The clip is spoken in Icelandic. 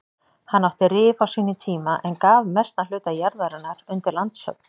Hann átti Rif á sínum tíma en gaf mestan hluta jarðarinnar undir landshöfn.